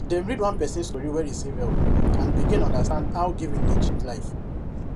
dem read one person story wey receive help and begin understand how giving dey change life